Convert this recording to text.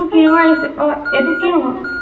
এইটো কি ৰঙৰ আহিছে, আহ এইটো কি ৰঙৰ?